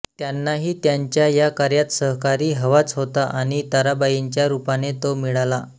त्यांनाही त्यांच्या या कार्यात सहकारी हवाच होता आणि ताराबाईंच्या रूपाने तो मिळाला